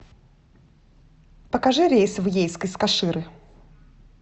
покажи рейс в ейск из каширы